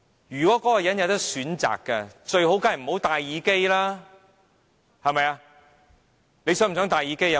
如果那個人可以選擇，最好便是不用戴耳機了，對嗎？